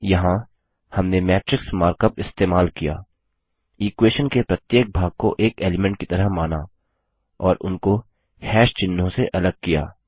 यहाँ हमने matrix markup इस्तेमाल किया इक्वेशन के प्रत्येक भाग को एक एलीमेंट की तरह माना और उनको चिह्नों से अलग किया